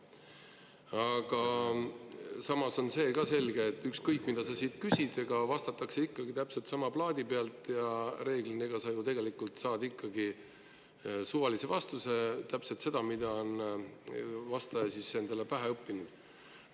Aga samas on see ka selge, et ükskõik, mida sa siit küsid, ega vastatakse ikka täpselt sama plaadi pealt ja enamasti sa saad ju tegelikult ikkagi suvalise vastuse – täpselt selle, mida vastaja on endale pähe õppinud.